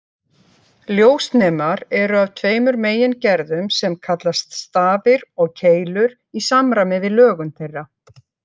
Ljósnemar eru af tveimur megingerðum sem kallast stafir og keilur í samræmi við lögun þeirra.